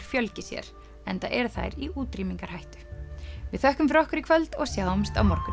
fjölgi sér enda eru þær í útrýmingarhættu við þökkum fyrir okkur í kvöld og sjáumst á morgun